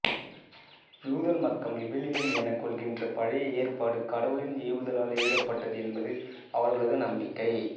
யூத மக்கள் விவிலியம் எனக் கொள்கின்ற பழைய ஏற்பாடு கடவுளின் ஏவுதலால் எழுதப்பட்டது என்பது அவர்களது நம்பிக்கை